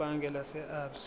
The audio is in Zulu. ebhange lase absa